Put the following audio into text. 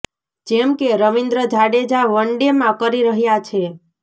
જેમ કે રવિન્દ્ર જાડેજા વન ડેમાં કરી રહ્યા છે